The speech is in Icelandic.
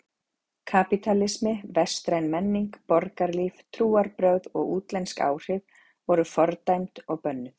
Kapítalismi, vestræn menning, borgarlíf, trúarbrögð og útlensk áhrif voru fordæmd og bönnuð.